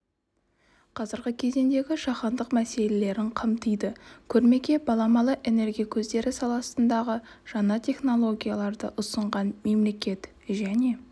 қазіргі кездегі жаһандық мәселелерін қамтыды көрмеге баламалы энергия көздері саласындағы жаңа технологияларды ұсынған мемлекет және